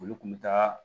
Olu kun bɛ taa